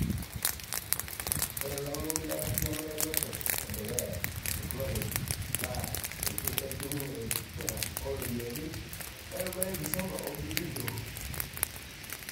Ore langeni lenkariyiano elotot edukuya e teknoloji naa enchukunye enkipika o ropiyiani erubata enkisuma o biotisho.